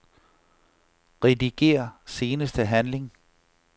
Rediger seneste handling.